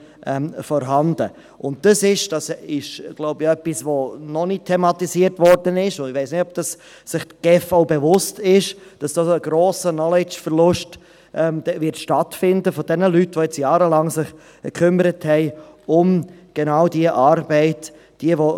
Hier wird – das ist bis jetzt noch nicht thematisiert worden, und ich weiss nicht, ob sich die GEF dessen auch bewusst ist – ein grosser Knowledge-Verlust von jenen Leuten stattfinden, die sich nun jahrelang um genau diese Arbeit gekümmert haben.